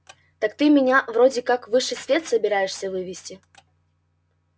так ты меня вроде как в высший свет собираешься вывести